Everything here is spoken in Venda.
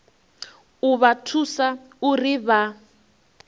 u vha thusa uri vha